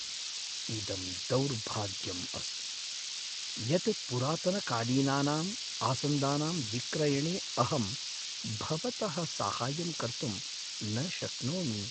इदं दौर्भाग्यम् अस्ति यत् पुरातनकालीनानां आसन्दानां विक्रयणे अहं भवतः साहाय्यं कर्तुं न शक्नोमि।